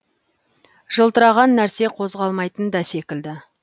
жылтыраған нәрсе қозғалмайтын да секілді